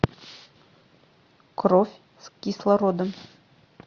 кровь с кислородом